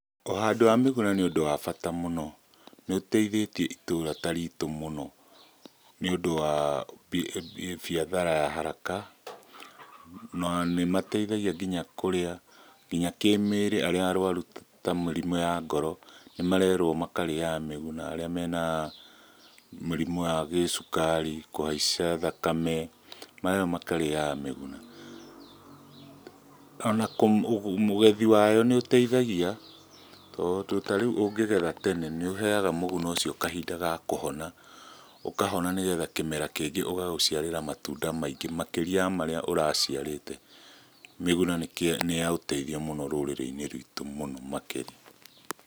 Ũhandi wa mĩguna nĩũndũ wa bata mũno, nĩũteithĩtie itura taritũ mũno, nĩũndũ wa biathara ya haraka. Na nĩmateithagia nginya kĩmĩrĩ, arĩa arwaru ta mĩrimũ ya ngoro nĩmarerwo makarĩyaga mĩguna, arĩa mena mĩrimũ ya gĩcukari, kũhaica thakame marerwo makarĩyaga mĩguna. Ona ũgethi wayo nĩ ũteithagia, ta rĩu ũngĩgetha tene nĩũheyaga mũguna ũcio kahinda ga kũhona, ũkahona nĩgetha kĩmera kĩngĩ ũgagũciarĩra matunda makĩria wa marĩa ũraciarĩte. Mĩguna nĩ ya ũteithio mũno rũrĩrĩ-inĩ rwitũ mũno makĩria.